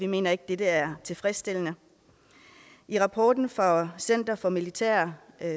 mener at dette er tilfredsstillende i rapporten fra center for militære